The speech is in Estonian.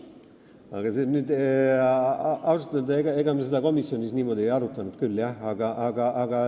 Ausalt öelda ega me seda komisjonis niimoodi ei arutanud küll.